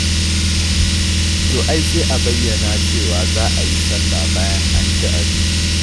To ai sai a bayyana cewa za a yi salla bayan an ci abinci.